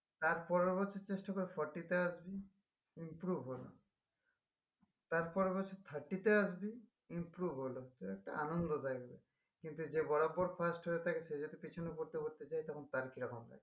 তার পরের বছর চেষ্টা করে forty তে আসবি improve হল তার পরের বছর thirty তে আসবি improve হল এটা আন্নন্দ দেয় কিন্তু যে বরাবর first হয়ে থাকে যে যদি পিছনে পোরতে পোরতে যাই তখন তার কিরকম লাগবে